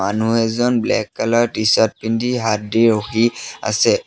মানুহ এজন black colour T-shirt পিন্ধি হাত দি ৰখি আছে।